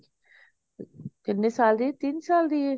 ਕਿੰਨੇ ਸਾਲ ਦੀ ਤਿੰਨ ਸਾਲ ਦੀ ਹੈ